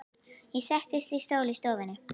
Ég settist í stól í stofunni.